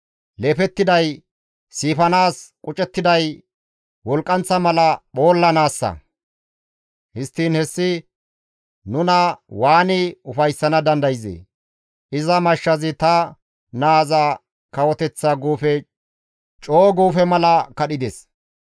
Leefettiday siifanaas, qucettiday wolqqanththa mala phoollanaassa. Histtiin hessi nuna waani ufayssana dandayzee? Iza mashshazi ta naaza kawoteththa guufe coo guufe mala kadhides.